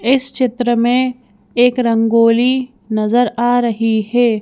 इस चित्र में एक रंगोली नजर आ रही है।